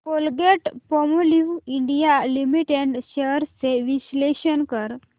Colgate Palmolive India limited shares चे विश्लेषण कर